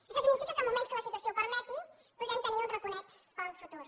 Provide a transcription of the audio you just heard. això significa que en moments en què la situacions ho permeti podrem tenir un raconet per al futur